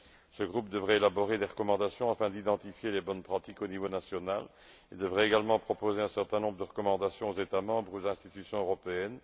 Ce groupe devrait élaborer des recommandations afin d'identifier les bonnes pratiques au niveau national et devrait également proposer un certain nombre de recommandations aux États membres et aux institutions européennes.